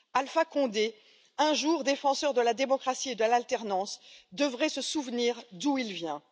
Alpha Condé, jadis défenseur de la démocratie et de l'alternance, devrait se souvenir d'où il vient.